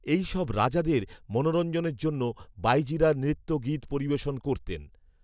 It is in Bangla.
এই সব রাজাদের মনোরঞ্জনের জন্য বাঈজীরা নৃত্য গীত পরিবেশন করতেন